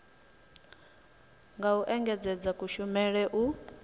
nga u engedzedza kushumele u